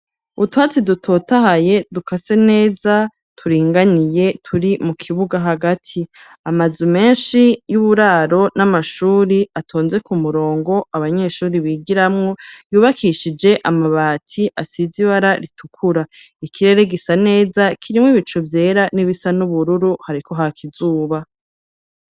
Utwatsi dutotahaye, dukase neza, turinganiye, turi mu kibuga hagati; amazu menshi y'uburaro, n'amashuri atonze ku murongo, abanyeshuri bigiramwo, yubakishije amabati, asize ibara ritukura; ikirere gisa neza, kirimwo ibicu vyera n'ibisa n'ubururu, hariko haka izuba.